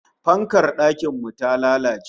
Fankar dakin mu ta lalace